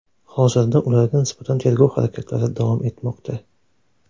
Hozirda ularga nisbatan tergov harakatlari davom etmoqda.